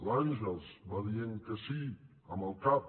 l’àngels va dient que sí amb el cap